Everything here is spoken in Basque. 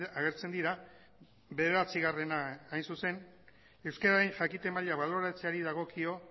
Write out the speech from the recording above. agertzen dira bederatzigarrena hain zuzen euskeraren jakite maila baloratzeari dagokio